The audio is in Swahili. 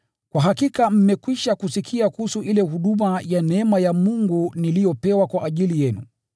Kwa hakika mmekwisha kusikia kuhusu ile huduma ya neema ya Mungu niliyopewa kwa ajili yenu,